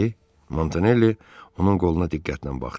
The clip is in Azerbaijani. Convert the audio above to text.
Montanelli onun qoluna diqqətlə baxdı.